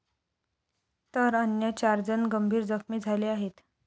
तर अन्य चारजण गंभीर जखमी झाले आहेत.